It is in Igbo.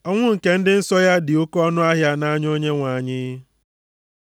Ọnwụ nke ndị nsọ ya dị oke ọnụahịa nʼanya Onyenwe anyị.